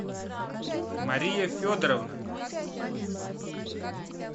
мария федоровна